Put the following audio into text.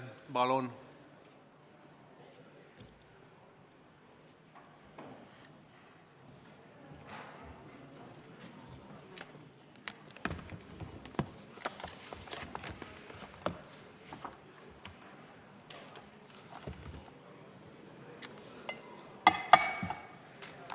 Palun!